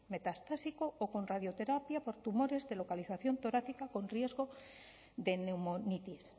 metastásico o con radioterapia por tumores de localización torácica con riesgo de neumonitis